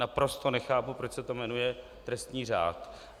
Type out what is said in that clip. Naprosto nechápu, proč se to jmenuje trestní řád.